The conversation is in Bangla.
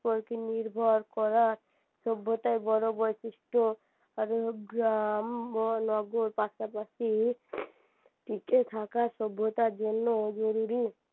নির্ভর করা সভ্যতার বড় বৈশিষ্ট আর গ্রাম ও নগর পাশাপাশি টিকে থাকা সভ্যতার জন্য জরুরি